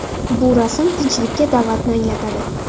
Bu rasm tinchlikka da’vatni anglatadi.